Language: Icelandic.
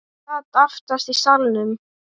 Ég sat aftast í salnum.